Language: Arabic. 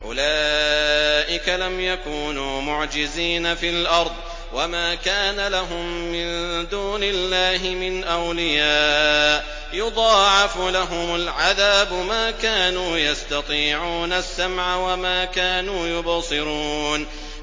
أُولَٰئِكَ لَمْ يَكُونُوا مُعْجِزِينَ فِي الْأَرْضِ وَمَا كَانَ لَهُم مِّن دُونِ اللَّهِ مِنْ أَوْلِيَاءَ ۘ يُضَاعَفُ لَهُمُ الْعَذَابُ ۚ مَا كَانُوا يَسْتَطِيعُونَ السَّمْعَ وَمَا كَانُوا يُبْصِرُونَ